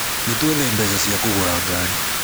Nĩtwethe mbeca cia kũgũra ngari